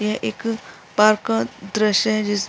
यह एक पार्क का दृश्य है जिस --